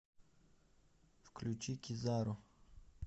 включи кизару